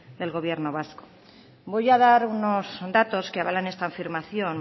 del gobierno vasco voy a dar unos datos que avalan esta afirmación